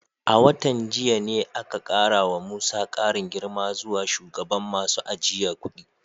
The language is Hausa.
A watan jiya ne aka kara wa Musa karin girma zuwa shugaban masu ajiye kudi.